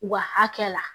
U ka hakɛ la